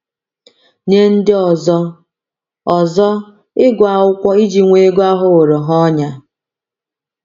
Nye ndị ọzọ, ọzọ, ịgụ akwụkwọ iji nwee ego aghọworo ha ọnyà.